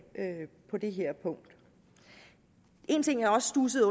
med det her punkt en ting jeg også studsede